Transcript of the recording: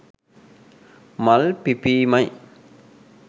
මල් පිපීම යි.